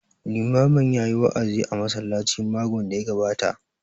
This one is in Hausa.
Limamin ya yi wa'azi a masallacin makon da ya gabata